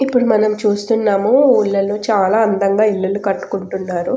ఇప్పుడు మనం చూస్తున్నాము ఊర్లలో చాలా అందంగా ఇల్లులు కట్టుకుంటున్నారు.